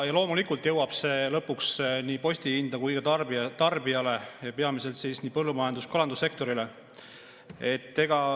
Loomulikult jõuab see lõpuks nii postihinda kui ka tarbijale, peamiselt põllumajandus‑ ja kalandussektorile.